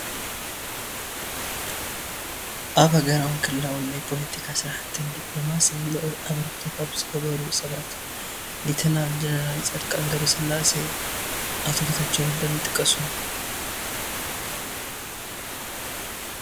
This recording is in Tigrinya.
ኣብ ሃገራውን ክልላውን ናይ ፖለቲካ ስራሕትን ዲኘሎማስን ልዑል ኣበርክቶ ካብ ዝገበሩ ሰባት ሌተናል ጀነራል ፃድቃን ገ/ትንሳኤ፣ ኦቶ ጌታቸው ረዳን ይጥቀሱ፡፡